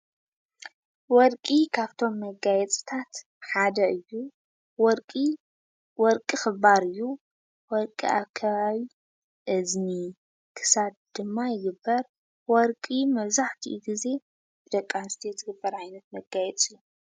ወርቂ ካብቶም መጋየፅታት ሓደ እዩ፡፡ ወርቂ ኽባር እዮ፡፡ ወርቂ ኣብ ከባቢ እዝኒን ክሳድን ድማ ይግበር። ወርቂ መብዛሕትኡ ጊዜ ብደቂ ኣንስትዮ ዝግበር ዓይነት መጋየፂ እዩ፡፡